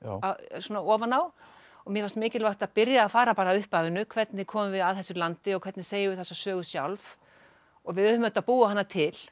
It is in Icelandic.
svona ofan á og mér fannst mikilvægt að byrja á að fara að upphafinu hvernig komum við að þessu landi og hvernig segjum við þessa sögu sjálf og við höfum auðvitað búið hana til